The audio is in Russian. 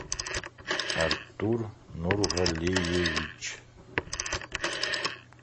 артур нургалиевич